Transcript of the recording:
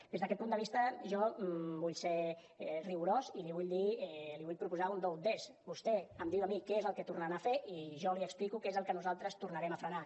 des d’aquest punt de vista jo vull ser rigorós i li vull dir li vull proposar un do ut des vostè em diu a mi què és el que tornaran a fer i jo li explico què és el que nosaltres tornarem a frenar